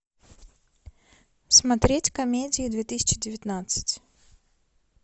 смотреть комедии две тысячи девятнадцать